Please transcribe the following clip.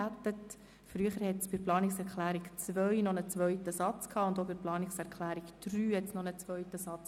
In früheren Fassungen enthielten die Planungserklärungen 2 und 3 jeweils noch einen zweiten Satz.